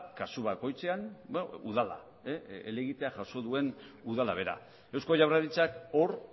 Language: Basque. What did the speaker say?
kasu bakoitzean udala helegitea jaso duen udala bera eusko jaurlaritzak hor